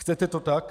Chcete to tak?